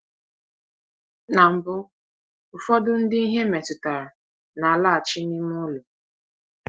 Na mbụ, ụfọdụ ndị ihe metụtara na-alaghachi n’ime ụlọ.